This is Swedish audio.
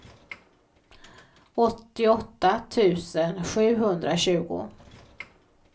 åttioåtta tusen sjuhundratjugo